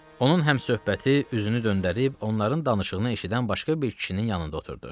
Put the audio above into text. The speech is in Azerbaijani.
Onun həmsöhbəti üzünü döndərib, onların danışığını eşidən başqa bir kişinin yanında oturdu.